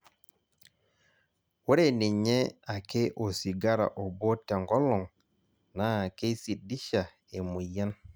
ore ninye ake osigara obo te nkolong' naa keisidisha e moyian